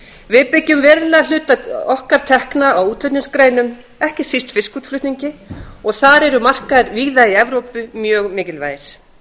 við byggjum verulegan hluta okkar tekna á útflutningsgreinum ekki síst fiskútflutningi og þar eru markaðir víða í evrópu mjög mikilvægir